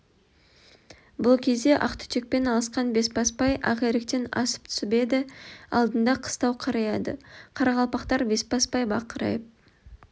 бұл кезде ақ түтекпен алысқан бесбасбай акиректен асып түсіп еді алдында қыстау қараяды қарақалпақтар бесбасбай бақырайып